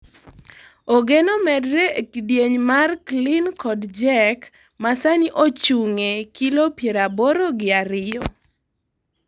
Ogeno medre ee kidieny mar Clean kod Jerk masani ochung'e kilo piero aboro gi ariyo.